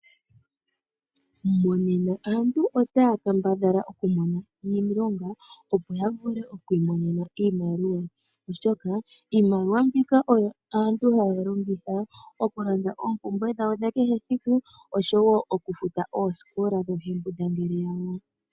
Monena aantu otaya kambadhala okumona iilonga, opo ya vule oku imonena iimaliwa, oshoka iimaliwa mbika oyo aantu haya longitha okulanda oompumbwe dhawo dha kehe esiku oshowo okufuta oosikola dhoohembundangele yawo.